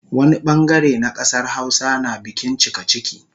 Wani bangare na kasar Hausa na bikin cikaciki